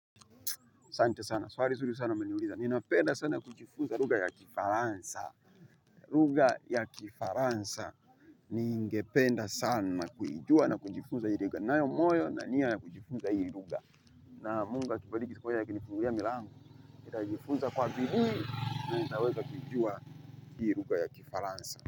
Asante sana swali nzuri sana umeniuliza ninapenda sana kujifunza lugha ya kifaransa lugha ya kifaransa ningependa sana kuijua na kujifunza hii lugha ninayo moyo na nia ya kujifunza hii lugha na mungu akinibariki siku moja akinifungulia milango nitajifuza kwa bidii na nitaweza kuijua hii lugha ya kifaransa.